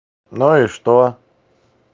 ну и что